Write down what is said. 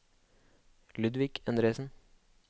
Ludvig Endresen